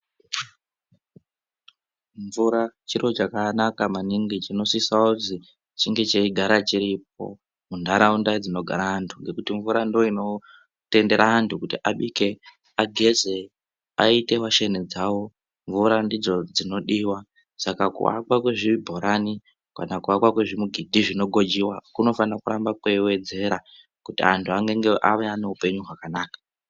Mvura chiro chakanaka maningi chinosisa kuzi chinge cheyigara chiripo mundaraunda dzinogara antu nokuti mvura ndiyo inotendera antu kuti abike, ageze, ayite washeni dzawo, mvura ndidzo dzinodiwa saka kuakwa kwezvibhorani kana kuakwa kwezvimigidhi zvinogwejewa kunofanira kuramba kweyiwedzerwa kuti vantu vave neupenyu hwakanaka.